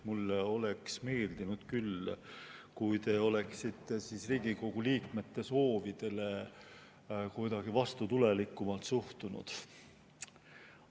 Mulle oleks küll meeldinud, kui te oleksite Riigikogu liikmete soovidesse kuidagi vastutulelikumalt suhtunud.